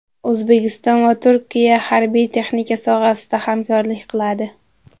O‘zbekiston va Turkiya harbiy-texnika sohasida hamkorlik qiladi.